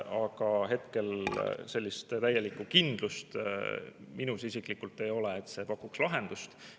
Aga hetkel sellist täielikku kindlust minus isiklikult ei ole, et see pakuks lahendust.